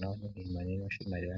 yokeiimonena oshimaliwa